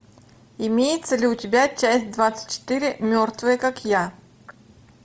имеется ли у тебя часть двадцать четыре мертвая как я